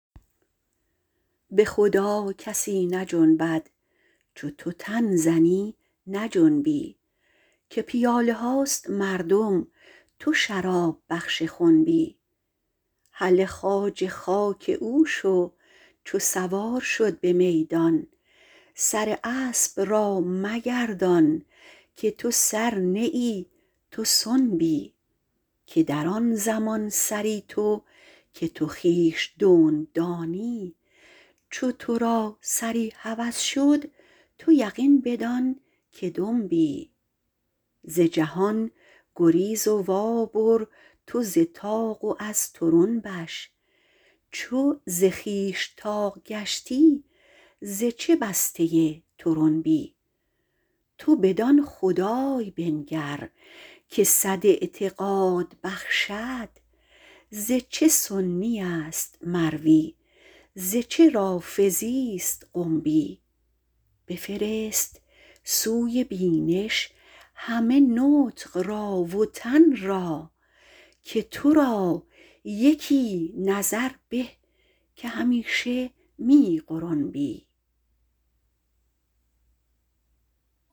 به خدا کسی نجنبد چو تو تن زنی نجنبی که پیاله هاست مردم تو شراب بخش خنبی هله خواجه خاک او شو چو سوار شد به میدان سر اسب را مگردان که تو سر نه ای تو سنبی که در آن زمان سری تو که تو خویش دنب دانی چو تو را سری هوس شد تو یقین بدانک دنبی ز جهان گریز و وابر تو ز طاق و از طرنبش چو ز خویش طاق گشتی ز چه بسته طرنبی تو بدان خدای بنگر که صد اعتقاد بخشد ز چه سنی است مروی ز چه رافضی است قنبی بفرست سوی بینش همه نطق را و تن را که تو را یکی نظر به که همیشه می غرنبی